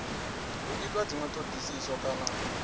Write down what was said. hu itwe dzinwe thodisiso kana